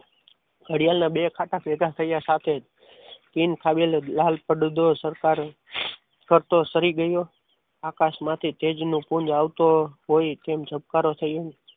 ઘડિયાળના બે કાંટા ભેગા થયા સાથે જ કિંગ ખાને લાલ પડદો સરકારે ફરતો શરીર ગયો આકાશમાંથી તેજનું પુણ્ય આવતું હોય તેમ ધબકારો થયો.